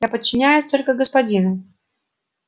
я подчиняюсь только господину